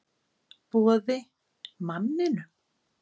Boði: Manninum?